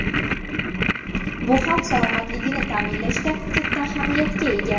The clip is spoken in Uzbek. Bu xalq salomatligini ta’minlashda katta ahamiyatga ega.